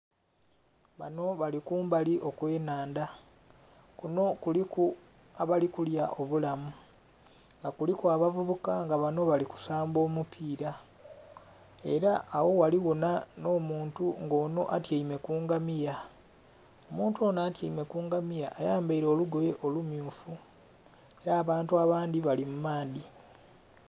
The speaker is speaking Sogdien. Banho bali kumbali okwe nhandha kunho kuliku abali kulya obulamu nga kuliku abavubuka nga banho bali kusamba omupira era agho ghaligho nho muntu nga onho atyaime ku ngamiya, omuntu onho atyaime ku ngamiya ayambaire olugoye olu myufu era abantu abandhi bali mu maadhi.